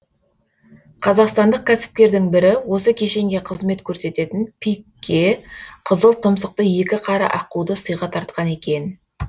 қазақстандық кәсіпкердің бірі осы кешенге қызмет көрсететін пик ке қызыл тұмсықты екі қара аққуды сыйға тартқан екен